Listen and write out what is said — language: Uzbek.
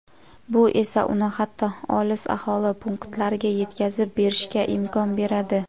Bu esa uni hatto olis aholi punktlariga yetkazib berishga imkon beradi.